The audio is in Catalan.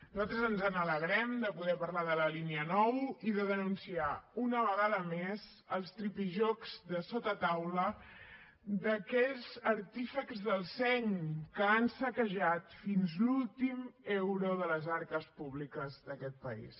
nosaltres ens n’alegrem de poder parlar de la línia nou i de denunciar una vegada més els tripijocs de sota taula d’aquells artífexs del seny que han saquejat fins l’últim euro de les arques públiques d’aquest país